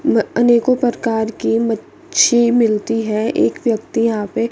अनेकों प्रकार की मच्छी मिलती है एक व्यक्ति यहां पे--